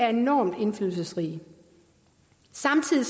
er enormt indflydelsesrig samtidig